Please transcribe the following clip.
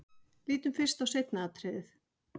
Lítum fyrst á seinna atriðið.